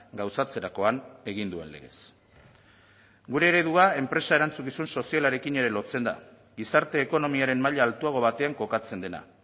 gauzatzerakoan egin duen legez gure eredua enpresa erantzukizun sozialarekin ere lotzen da gizarte ekonomiaren maila altuago batean kokatzen dena